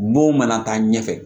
Mo mana taa ɲɛfɛ